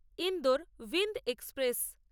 Indore Bhind express